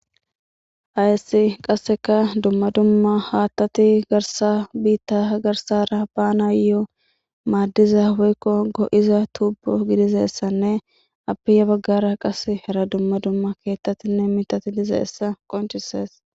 Hayssi qasseka dumma dumma haattati garsa biitta garsara baana yoo maaddiza weykko go7iza tubo gidizeessanne apiya baggara qas hera dumma dumma keettatinne mitati lizeessa qoncises.